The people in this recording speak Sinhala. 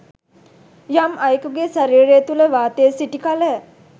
යම් අයකුගේ ශරීරය තුළ වාතය සිටි කල